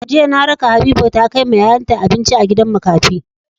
Jiya na raka habiba ta kai wa yayar ta abinci a gidan makafi